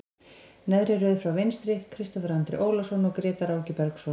Neðri röð frá vinstri, Kristófer Andri Ólason og Grétar Áki Bergsson.